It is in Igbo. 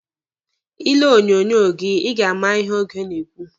Ị lee onyonyo gị, Ị ga-ama ihe oge na-ekwu.